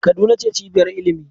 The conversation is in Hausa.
Kaduna ce cibiyar ilimi.